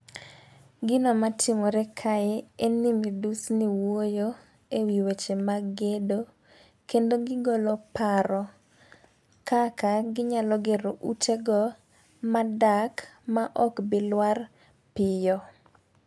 Gino matimore kae en ni midusni wuoyo ewi weche mag gedo kendo gigolo paro kaka ginyalo gero ute go madak ma ok bi lwar piyo.